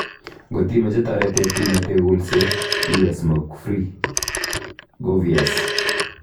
Ngot imache taritet imetee kulset, iwee smokefree. govyes